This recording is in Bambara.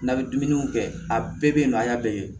N'a bɛ dumuniw kɛ a bɛɛ bɛ yen nɔ a y'a bɛɛ ye